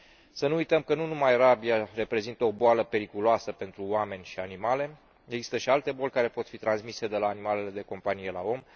Să nu uităm că nu numai rabia reprezintă o boală periculoasă pentru oameni și animale, există și alte boli care pot fi transmise de la animalele de companie la om.